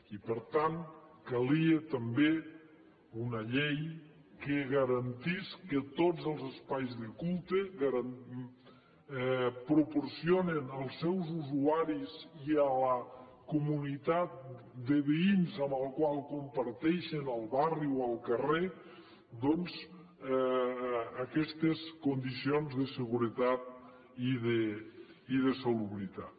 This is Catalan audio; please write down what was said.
i per tant calia també una llei que garantís que tots els espais de culte proporcionen als seus usuaris i a la comunitat de veïns amb la qual comparteixen el barri o el carrer doncs aquestes condicions de seguretat i de salubritat